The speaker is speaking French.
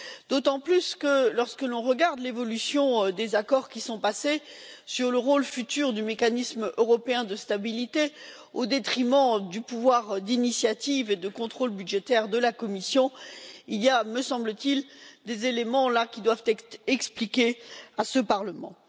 D'autant plus que, lorsque l'on regarde l'évolution des accords qui sont passés sur le rôle futur du mécanisme européen de stabilité, au détriment du pouvoir d'initiative et de contrôle budgétaire de la Commission, il y a, me semble t il, des éléments qui doivent être expliqués à ce Parlement.